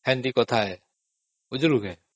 ଏମିତି କଥା ଆଉ ବୁଝିଲୁ କି?